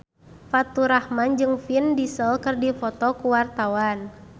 Faturrahman jeung Vin Diesel keur dipoto ku wartawan